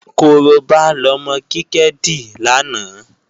Korobá lọmọ Kíkẹ́ dì lánàá